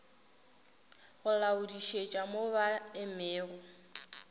go laodišetša mo ba emego